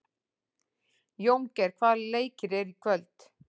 Jóngeir, hvaða leikir eru í kvöld?